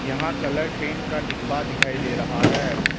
यहां colour paint का डिब्बा दिखाई दे रहा है।